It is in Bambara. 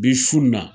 Bi su na